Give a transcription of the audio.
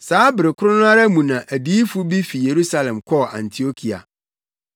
Saa bere koro no ara mu na adiyifo bi fi Yerusalem kɔɔ Antiokia.